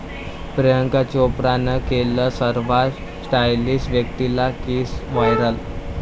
प्रियांका चोप्रानं केलं सर्वात स्टाइलिश व्यक्तीला किस, व्हायरल